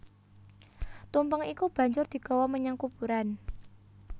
Tumpeng iku banjur digawa menyang kuburan